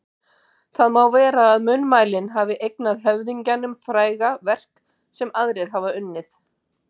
Því má vera að munnmælin hafi eignað höfðingjanum fræga verk sem aðrir hafa unnið.